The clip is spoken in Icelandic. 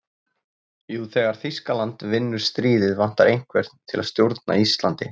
Jú, þegar Þýskaland vinnur stríðið vantar einhvern til að stjórna Íslandi.